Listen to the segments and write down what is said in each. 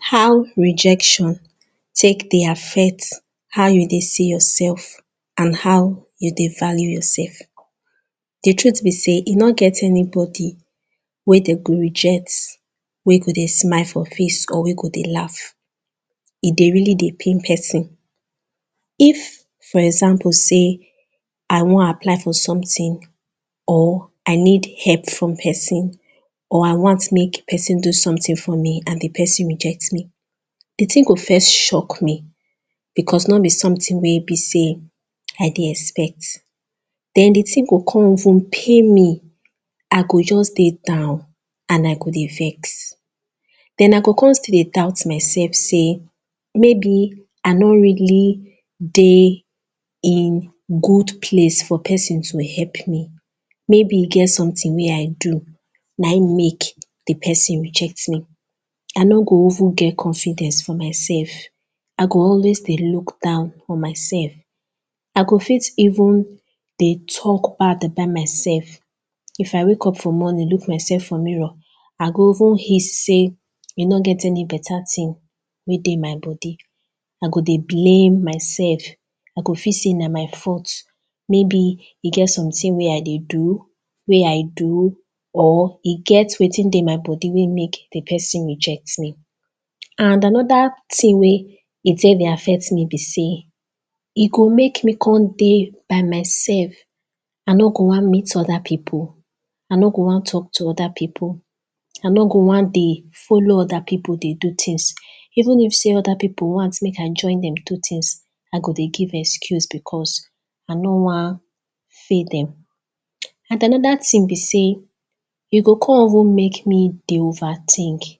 how rejection take dey affect how you dey see yourself and how you dey value yourself the truth be sey e no get anybody wey dey go reject wey go dey smile for face or wey go dey laugh e deybreally dey pain person if for example sey i wan apply for someting or i need help from person or i want make pesin do sometin for me and the person reject me the ting go first shock me because no be sometin wey be sey i dey expect then the ting go come even pain me i go just dey down and i go dey vex then i go come still dey doubt myself sey maybe i no really dey in good place for pesin to help maybe e get someting wey i do na him make the pesin reject me i no go even get confidence for myself i go always dey look down on myself i go fit even dey talk bad about myself if i wake up for morning look myself for mirror i go even hiss sey e no get any beta ting wey dey my body i go dey blame mysef i go feel sey na my fault maybe e get sometin wey i dey do wey i do or e get wetin dey my body wey make the pesin reject me and another ting wey e take dey affect me be sey e go make me come dey by myself i no go wan meet other people i no go wan talk to other people i no go wan dey follow other people dey do tings even if other people wan make i join them do tings i go dey give excuse because i no wan fail them and another ting be sey e go come even dey make me dey overtink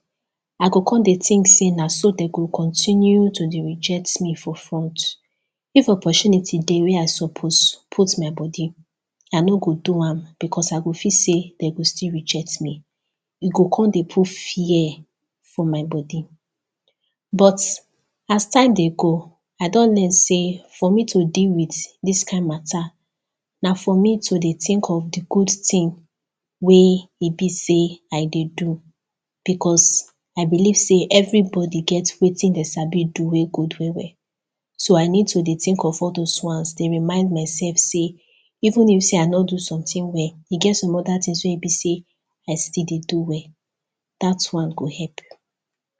i come dey tink sey na so dey go dey continue to dey reject me for front if opportunity dey wey i suppose put my body i no go do am because i go feel sey dey go still reject me e go come dey put fear for my body but as time dey go i don learn sey for me to deal with this kind matter na for me to dey tink of the good ting wey e be sey i dey do because i believe sey every body get wetin dem sabi do well well so i need to the tink of all those ones dey remind myself sey even if sey i no do sometin well e get some other tings wey e be sey i still dey do well that one help.